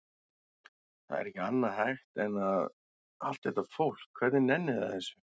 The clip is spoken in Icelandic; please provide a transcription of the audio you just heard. Það er ekki annað hægt en að. allt þetta fólk, hvernig nennir það þessu?